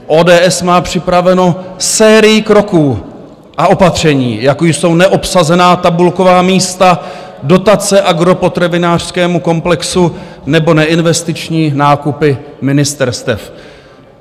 ODS má připravenu sérii kroků a opatření, jako jsou neobsazená tabulková místa, dotace agropotravinářskému komplexu nebo neinvestiční nákupy ministerstev."